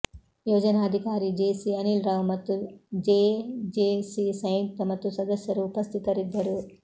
ಯೋಜನಾಧಿಕಾರಿ ಜೇಸಿ ಅನಿಲ್ ರಾವ್ ಮತ್ತು ಜೇಜೆಸಿ ಸಂಯುಕ್ತ ಮತ್ತು ಸದಸ್ಯರು ಉಪಸ್ಥಿತರಿದ್ದರು